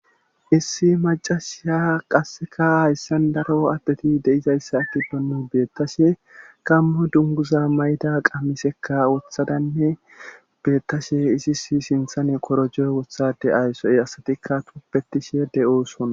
issi macashia qasseka hayssan daro addeti deizayssa atti donnu beettashe gammo dunguza mayda qamisekka wuthadanne beettashe isi si sinthane korojeo wothade ayssoe asatikka tuppetishe de7ooson